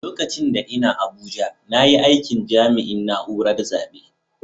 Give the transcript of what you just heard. Lokacin da n'na Abuja na yi aikin jami'in naúrar zabe.